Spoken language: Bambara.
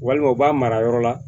Walima u b'a mara yɔrɔ la